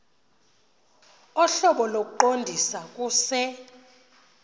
ohlobo lokuqondisa kuse